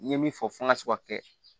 N ye min fɔ fɔ n ka se ka kɛ